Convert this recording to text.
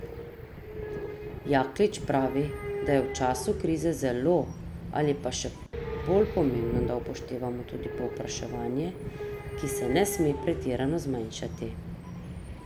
Jaklič pravi, da je v času krize zelo ali pa še bolj pomembno, da upoštevamo tudi povpraševanje, ki se ne sme pretirano zmanjšati.